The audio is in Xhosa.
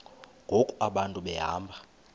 ngoku abantu behamba